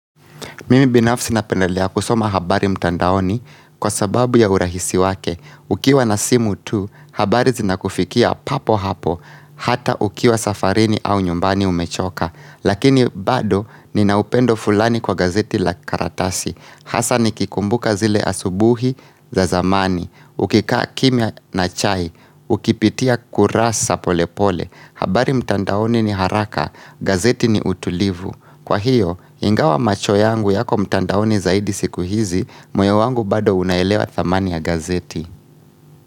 Mimi binafsi napendelea kusoma habari mtandaoni kwa sababu ya urahisi wake. Ukiwa na simu tu, habari zinakufikia papo hapo. Hata ukiwa safarini au nyumbani umechoka. Lakini bado nina upendo fulani kwa gazeti la karatasi. Hasa nikikumbuka zile asubuhi za zamani. Ukikaa kimya na chai. Ukipitia kurasa pole pole. Habari mtandaoni ni haraka. Gazeti ni utulivu. Kwa hiyo, ingawa macho yangu yako mtandaoni zaidi siku hizi, moyo wangu bado unaelewa thamani ya gazeti.